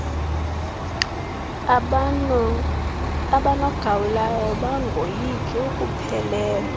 abanogawulayo bangoyika ukuphelelwa